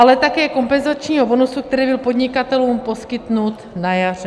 ... ale také kompenzačního bonusu, který byl podnikatelům poskytnut na jaře.